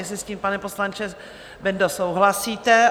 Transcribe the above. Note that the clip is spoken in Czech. Jestli s tím, pane poslanče Bendo, souhlasíte?